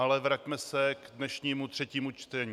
Ale vraťme se k dnešnímu třetímu čtení.